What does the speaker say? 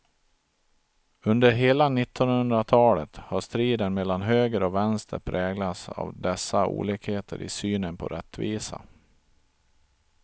Under hela nittonhundratalet har striden mellan höger och vänster präglats av dessa olikheter i synen på rättvisa.